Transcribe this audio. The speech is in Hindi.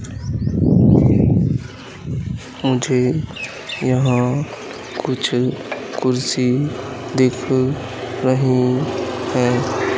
मुझे यहां कुछ कुर्सी दिख रही हैं।